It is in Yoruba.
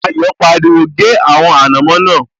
Mayọ̀ pariwo, 'gé àwọn ànàmọ́ náà'